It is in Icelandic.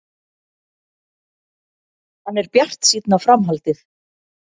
Hann er bjartsýnn á framhaldið.